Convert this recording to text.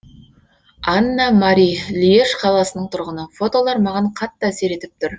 анна мари льеж қаласының тұрғыны фотолар маған қатты әсер етіп тұр